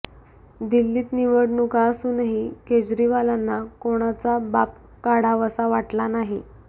दिल्लीत निवडणुका असूनही केजरीवालांना कोणाचा बाप काढावासा वाटला नाही